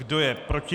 Kdo je proti?